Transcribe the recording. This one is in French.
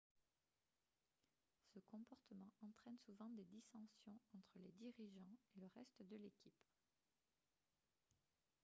ce comportement entraîne souvent des dissensions entre les dirigeants et le reste de l'équipe